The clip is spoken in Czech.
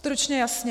Stručně, jasně.